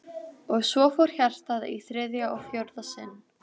Og svo fór hjartað í þriðja og fjórða sinn.